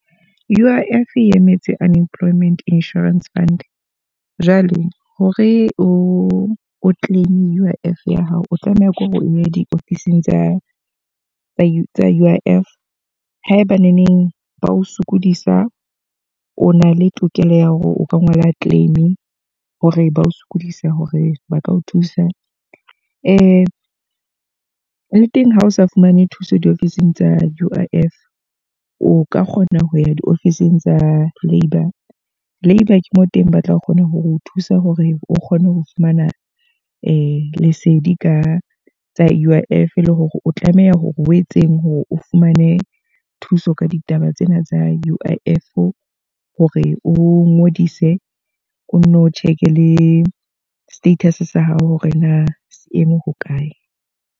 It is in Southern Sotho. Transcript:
U_I_F e emetse Unemployment Insurance Fund. Jwale hore o oclaim U_I_F ya hao, o tlameha ke hore o ye di ofising tsa tsa U I F. Haebaneneng ba o sokodisa, o na le tokelo ya hore o ka ngola claim hore ba o sokodisa hore ba ka o thusa. le teng ha o sa fumane thuso diofising tsa U_I_F, o ka kgona ho ya di ofising tsa labour. Labour ke moo teng ba tla kgona ho o thusa hore o kgone ho fumana lesedi ka tsa U_I_F, le hore o tlameha hore o etse eseng hore o fumane thuso ka ditaba tsena tsa U_I_F. Hore o ngodise, o nno check le status sa hao hore na seeme hokae.